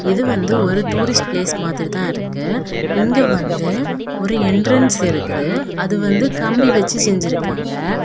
இது வந்து ஒரு டூரிஸ்ட் பிளேஸ் மாதிரி தான் இருக்கு. இங்க வந்து ஒரு என்ட்ரன்ஸ் இருக்குது. அது வந்து கம்பி வச்சு செஞ்சிருக்காங்க.